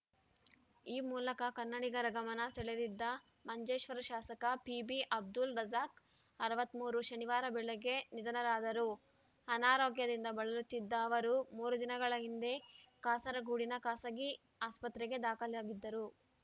ಈ ಮೂಲಕ ಕನ್ನಡಿಗರ ಗಮನ ಸೆಳೆದಿದ್ದ ಮಂಜೇಶ್ವರ ಶಾಸಕ ಪಿಬಿ ಅಬ್ದುಲ್‌ ರಜಾಕ್‌ ಅರವತ್ತ್ ಮೂರು ಶನಿವಾರ ಬೆಳಗ್ಗೆ ನಿಧನರಾದರು ಅನಾರೋಗ್ಯದಿಂದ ಬಳಲುತ್ತಿದ್ದ ಅವರು ಮೂರು ದಿನಗಳ ಹಿಂದೆ ಕಾಸರಗೋಡಿನ ಖಾಸಗಿ ಆಸ್ಪತ್ರೆಗೆ ದಾಖಲಾಗಿದ್ದರು